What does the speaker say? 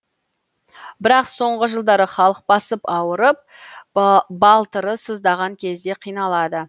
бірақ соңғы жылдары халық басып ауырып балтыры сыздаған кезде қиналады